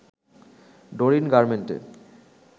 Dorin গার্মেন্টে